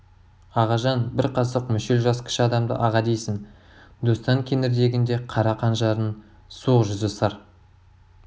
ағажан бір қасық мүшел жас кіші адамды аға дейсің достан кеңірдегінде қара қанжардың суық жүзі сыр